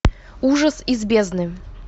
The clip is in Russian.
ужас из бездны